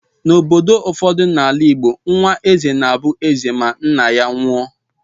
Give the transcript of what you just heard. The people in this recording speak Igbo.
N'obodo ụfọdụ na-ala Igbo, nwa eze na-abụ eze ma nna ya nwụọ.